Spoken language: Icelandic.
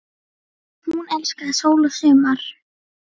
Hún elskaði sól og sumar.